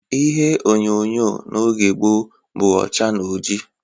Ihe onyonyo n'oge gboo, bụ ọcha na ọjị